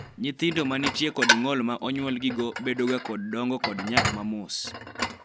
nyithindo manitie kod ng'ol ma onyuol gigo bedo ga kod dongo kod nyak mamos